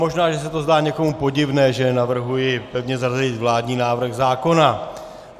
Možná že se to zdá někomu podivné, že navrhuji pevně zařadit vládní návrh zákona.